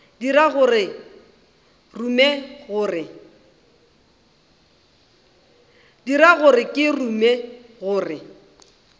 dira gore ke rume gore